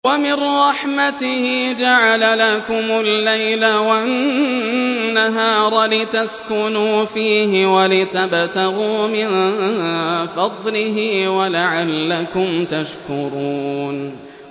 وَمِن رَّحْمَتِهِ جَعَلَ لَكُمُ اللَّيْلَ وَالنَّهَارَ لِتَسْكُنُوا فِيهِ وَلِتَبْتَغُوا مِن فَضْلِهِ وَلَعَلَّكُمْ تَشْكُرُونَ